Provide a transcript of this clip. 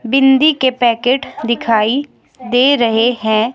बिंदी के पैकेट दिखाई दे रहे है।